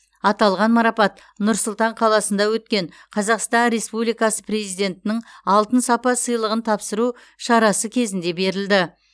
аталған марапат нұр сұлтан қаласында өткен қазақстан республикасы президентінің алтын сапа сыйлығын тапсыру шарасы кезінде берілді